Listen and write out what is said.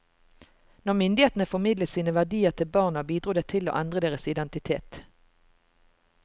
Når myndighetene formidlet sine verdier til barna, bidro det til å endre deres identitet.